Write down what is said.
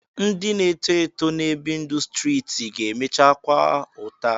Nsị na-eto eto na-ebi ndụ streeti ga-emecha kwaa ụta